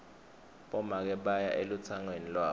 bomake baya elutsangweni lwabo